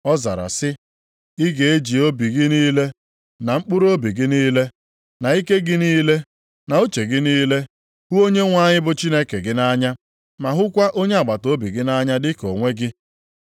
Ọ zara sị, “ ‘Ị ga-eji obi gị niile, na mkpụrụobi gị niile, na ike gị niile, na uche gị niile, hụ Onyenwe anyị bụ Chineke gị nʼanya’; ma ‘hụkwa onye agbataobi gị nʼanya dị ka onwe gị.’ + 10:27 \+xt Dit 6:5; Lev 19:18\+xt*”